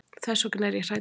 Þess vegna er ég hræddur.